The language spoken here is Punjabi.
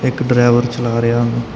ਇੱਕ ਡਰਾਈਵਰ ਚਲਾ ਰਿਆ --